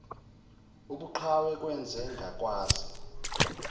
ubuqhawe kwenze ngakwazi